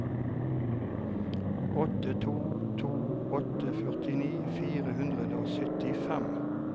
åtte to to åtte førtini fire hundre og syttifem